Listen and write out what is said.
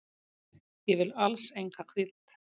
Ég vil alls enga hvíld.